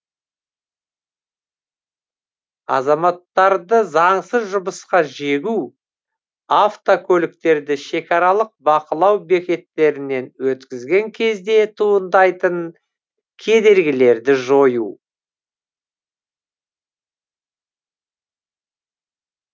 азаматтарды заңсыз жұмысқа жегу автокөліктерді шекаралық бақылау бекеттерінен өткізген кезде туындайтын кедергілерді жою